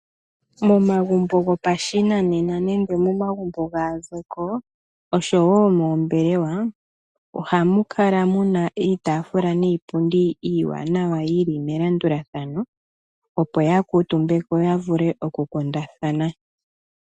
Momagumbo gopa shinanena, osho wo moombelewa, ohamukala muna iitafula niipundi iiwanawa yili melandulathano, opo ya kuutumbeko yavule oku kundathana.